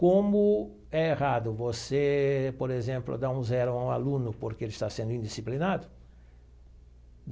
Como é errado você, por exemplo, dar um zero a um aluno porque ele está sendo indisciplinado.